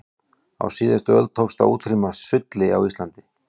á síðustu öld tókst að útrýma sulli á íslandi